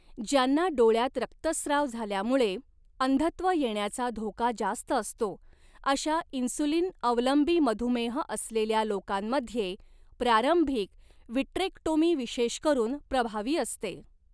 ज्यांना डोळ्यात रक्तस्त्राव झाल्यामुळे अंधत्व येण्याचा धोका जास्त असतो, अशा इन्सुलिन अवलंबी मधुमेह असलेल्या लोकांमध्ये प्रारंभिक विट्रेक्टोमी विशेष करून प्रभावी असते.